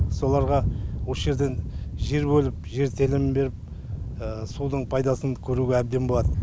соларға осы жерден жер бөліп жер телімін беріп судың пайдасын көруге әбден болады